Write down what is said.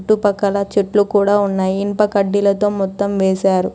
చుట్టుపక్కల చెట్లు కూడా ఉన్నాయి. ఇనుప కడ్డీలతో మొత్తం వేసారు.